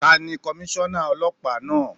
Tani Komíṣọ́nà Ọlọ́pàá náà?